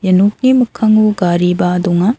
ia nokni mikkango gariba donga.